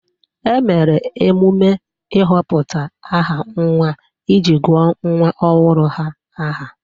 Emere emume ịhọpụta aha nwa iji guo nwa ohuru ha aha.